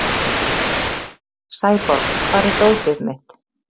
Sæborg, hvar er dótið mitt?